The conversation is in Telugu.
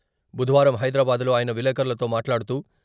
బుధవారం హైదరాబాద్ లో ఆయన విలేకరులతో మాట్లాడుతూ..